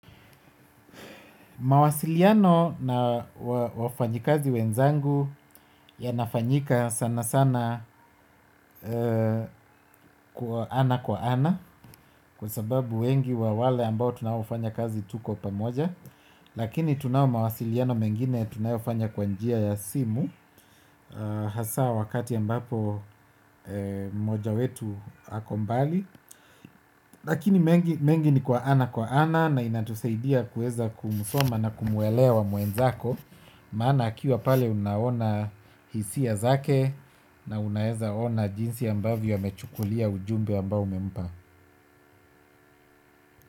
Mawasiliano na wafanyikazi wenzangu yanafanyika sana sana kwa ana kwa ana kwa sababu wengi wa wale ambao tunaofanya kazi tuko pamoja lakini tunayo mawasiliano mengine tunayofanya kwa njia ya simu. Hasa wakati ambapo mmoja wetu ako mbali. Lakini mengi ni kwa ana kwa ana na inatusaidia kuweza kumsoma na kumuelewa mwenzako. Maana akiwa pale unaona hisia zake na unaweza ona jinsi ambavyo amechukulia ujumbe ambao umempa.